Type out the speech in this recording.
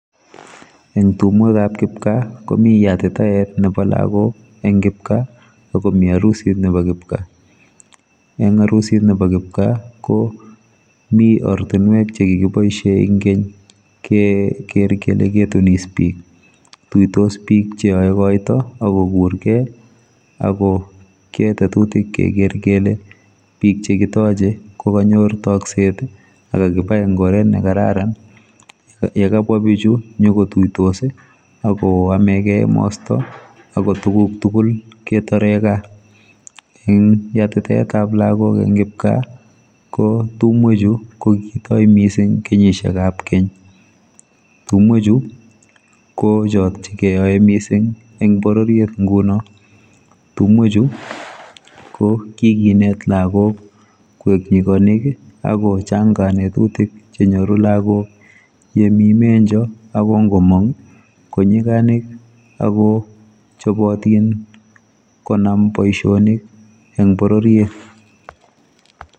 Eng tumweek ab kipkaa komii yatitaet ab lagoog en kipkaa ii akomii arusiit nebo kipkaa en arusiit nebo kipkaa ko Mii ortinweek che kikibaishen eng keeny ke ker kele kaitunis biik ,ituitos biik che yae koito che kayuum koger kole biik chekimachei ko kanyoor takseet ii ako kakibai komyei, ye kabwaa bichuu inyoko tuitos ii ago amekei emastaa ako tuguuk tugul ketareen gaah ,eng yatitaet ab lagoog en kipkaa ko tumweek chuu ko kikitoi missing kenyisiek ab keeny , tumweek chuu ko cjoot che keyae ngunoon, tumweek chuu ko kokineet lagook koek nyiganik ako chaang ngatutiik che nyoruu yaan Mii menjoo ko ko maang ko nyiganik ako chabatiin konam boisionik eng borororiet.